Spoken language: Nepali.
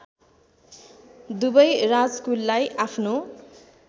दुवै राजकुललाई आफ्नो